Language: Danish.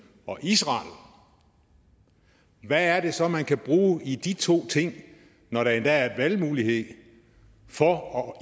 og israel hvad er det så man kan bruge i de to ting når der endda er valgmulighed for